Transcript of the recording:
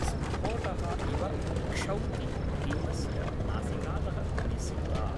स्फोटः इव क्षौति भीमस्य नासिकातः निसृता।